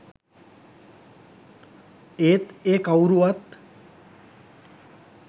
ඒත් ඒ කවුරුවත්